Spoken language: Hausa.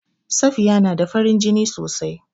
Safiya na da farin jini sosai.